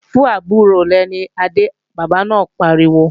Fún àbúrò rẹ̀ ní adé, bàbá náà pariwo!